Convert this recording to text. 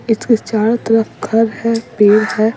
इसके चारों तरफ घर है पेड़ है।